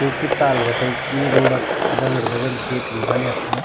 क्युकी ताल बटे की रोड क दगड दगड गेट भी बण्या छना।